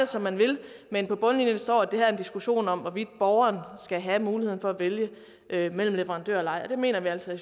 som man vil men på bundlinjen står at det her er en diskussion om hvorvidt borgeren skal have muligheden for at vælge mellem leverandører og det mener vi altså i